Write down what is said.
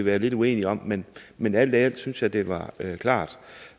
være lidt uenige om men men alt i alt synes jeg det var klart